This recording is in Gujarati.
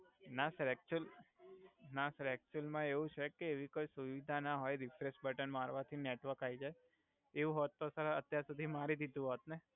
ના સર એક્ચુઅલ ના સર એક્ચુઅલ મા એવુ છે કે એવી કોઇ સુવિધા ના હોય રીફ્રેસ બટન મારવાથી નેટવર્ક આવી જાય એવુ હોત તો ત અત્યાર સુધી મારી દીધુ હોત ને